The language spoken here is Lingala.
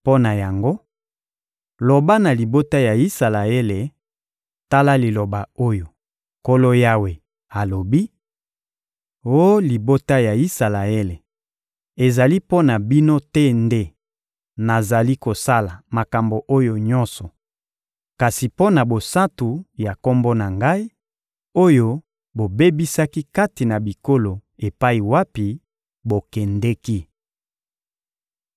Mpo na yango, loba na libota ya Isalaele: ‹Tala liloba oyo Nkolo Yawe alobi: Oh libota ya Isalaele, ezali mpo na bino te nde nazali kosala makambo oyo nyonso, kasi mpo na bosantu ya Kombo na Ngai, oyo bobebisaki kati na bikolo epai wapi bokendeki.